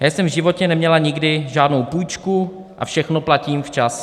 Já jsem v životě neměla nikdy žádnou půjčku a všechno platím včas.